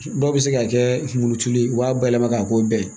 Dɔw bɛ se ka kɛ kunkolotulu ye u b'a bayɛlɛma k'a k'o bɛɛ ye